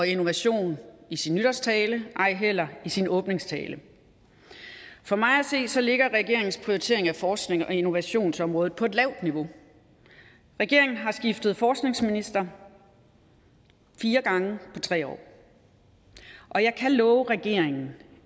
innovation i sin nytårstale ej heller i sin åbningstale for mig at se ligger regeringens prioritering af forsknings og innovationsområdet på et lavt niveau regeringen har skiftet forskningsminister fire gange på tre år og jeg kan love regeringen